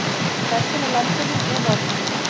Hvessir á landinu með morgninum